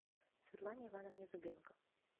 светлане ивановне зубенко